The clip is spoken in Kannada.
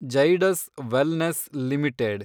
Zydus wellness limited